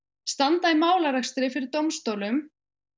standa í málarekstri fyrir dómstólum